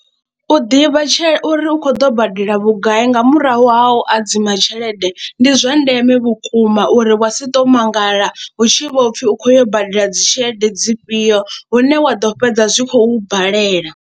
U ḓivha tshe uri u khou ḓo badela vhugai nga murahu ha u hadziwa tshelede ndi zwa ndeme vhukuma uri wa si tou mangala hu tshi vho pfhi u khou yo u badela dzi tshelede dzifhio hune wa ḓo fhedza zwi khou balela.